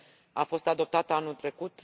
A fost adoptată anul trecut.